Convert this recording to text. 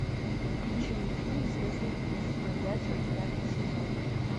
включи мне фильм звездный путь вояджер пятый сезон